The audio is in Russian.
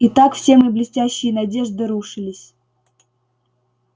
и так все мои блестящие надежды рушились